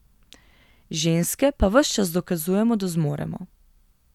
Ženske pa ves čas dokazujemo, da zmoremo.